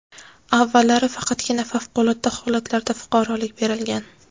Avvallari faqatgina favqulodda holatlarda fuqarolik berilgan.